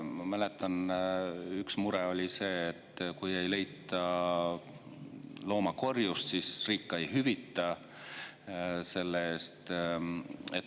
Ma mäletan, et üks mure oli see, et kui ei leita looma korjust, siis riik ei hüvita seda.